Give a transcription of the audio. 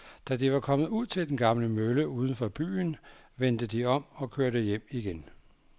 Da de var kommet ud til den gamle mølle uden for byen, vendte de om og kørte hjem igen.